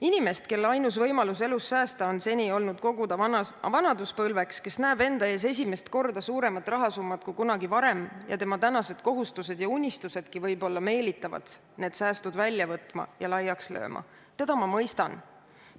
Inimest, kelle ainus võimalus elus säästa on seni olnud vanaduspõlveks kogumine ning kes näeb esimest korda enda ees suuremat rahasummat kui kunagi varem – tema tänased kohustused ja unistusedki võib-olla meelitavad neid sääste välja võtma ja laiaks lööma –, teda ma mõistan.